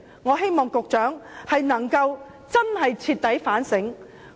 我希望局長能真正徹底反省。